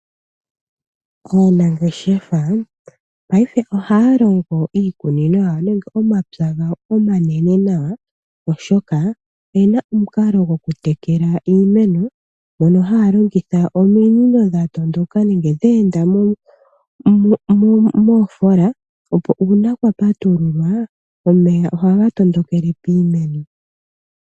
Aanangeshefa payife ohaya longo iikunino nenge omapya gawo omanene nawa oshoka oyena omukalo gwokutekela iimeno mono haya longitha ominino dha tondoka nenge dheenda moofola opo uuna kwa patululwa omeya ohaga tondokele piimeno.